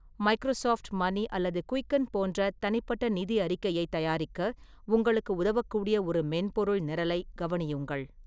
Microsoft Money அல்லது Quicken போன்ற தனிப்பட்ட நிதி அறிக்கையைத் தயாரிக்க உங்களுக்கு உதவக்கூடிய ஒரு மென்பொருள் நிரலைக் கவனியுங்கள்.